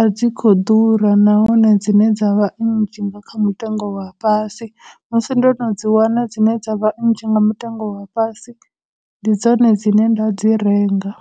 a dzi khou ḓura, nahone dzine dza vha nnzhi nga kha mutengo wa fhasi, musi ndo no dzi wana dzine dza vha nnzhi nga mutengo wa fhasi, ndi dzone dzine nda dzi renga.